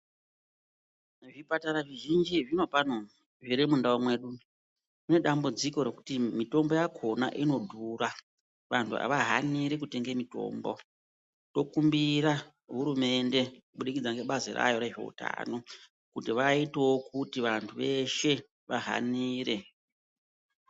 Zvipatara zvizhinji zvinopano zvirimundau mwedu, munedambudziko rekuti mitombo yakona inodhura vantu havahanii kutenga mitombo. Tokumbira hurumende kubudikidza nebazi rayo rezveutano kuti vaitevo kuti vantu veshe vahanire.